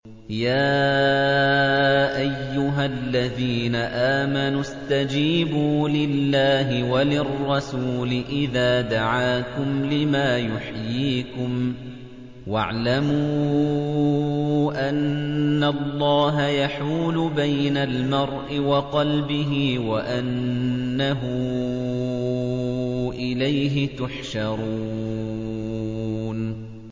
يَا أَيُّهَا الَّذِينَ آمَنُوا اسْتَجِيبُوا لِلَّهِ وَلِلرَّسُولِ إِذَا دَعَاكُمْ لِمَا يُحْيِيكُمْ ۖ وَاعْلَمُوا أَنَّ اللَّهَ يَحُولُ بَيْنَ الْمَرْءِ وَقَلْبِهِ وَأَنَّهُ إِلَيْهِ تُحْشَرُونَ